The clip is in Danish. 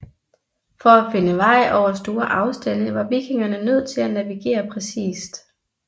For at finde vej over store afstande var vikingerne nødt til at navigere præcist